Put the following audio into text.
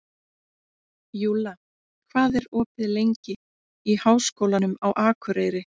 Júlla, hvað er opið lengi í Háskólanum á Akureyri?